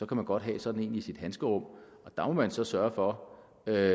kan godt have sådan en i sit handskerum og der må man så sørge for at